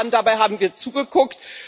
Dabei haben wir zugeguckt.